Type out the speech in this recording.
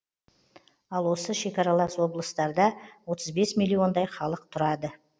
ал осы шекаралас облыстарда отыз бес миллиондай халық тұрады